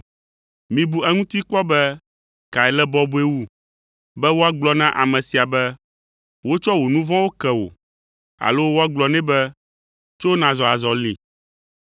Mibu eŋuti kpɔ be kae le bɔbɔe wu, be woagblɔ na ame sia be, ‘Wotsɔ wò nu vɔ̃wo ke wò’ alo woagblɔ nɛ be, ‘Tso nàzɔ azɔli?’ ”